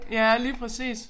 Ja lige præcis